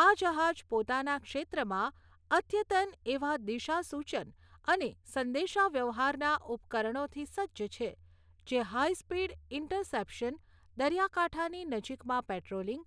આ જહાજ પોતાના ક્ષેત્રમાં અદ્યતન એવા દિશાસૂચન અને સંદેશાવ્યવહારના ઉપકરણોથી સજ્જ છે જે હાઇસ્પીડ ઇન્ટરસેપ્શન, દરિયાકાંઠાની નજીકમાં પેટ્રોલિંગ,